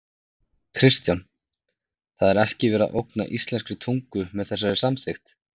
Kristján: Það er ekki verið að ógna íslenskri tungu með þessari samþykkt?